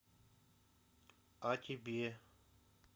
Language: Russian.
а тебе